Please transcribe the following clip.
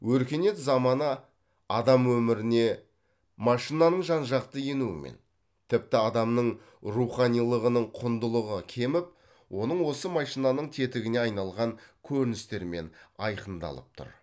өркениет заманы адам өміріне машинаның жан жақты енуімен тіпті адамның руханилығының құндылығы кеміп оның осы машинаның тетігіне айналған көріністерімен айқындалып тұр